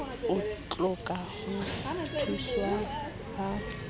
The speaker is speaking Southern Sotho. o hloka ho thuswa ha